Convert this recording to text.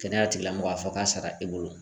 Kɛnɛya tigilamɔgɔ a fɔ k'a sara e bolo.